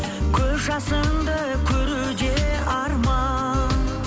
көз жасыңды көру де арман